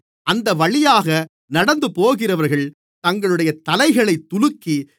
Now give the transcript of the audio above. அந்தவழியாக நடந்துபோகிறவர்கள் தங்களுடைய தலைகளைத் துலுக்கி